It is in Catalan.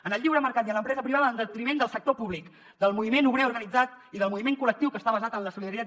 en el lliure mercat i en l’empresa privada en detriment del sector públic del moviment obrer organitzat i del moviment col·lectiu que està basat en la solidaritat